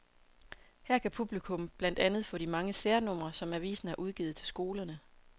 Her kan publikum blandt andet få de mange særnumre, som avisen har udgivet til skolerne.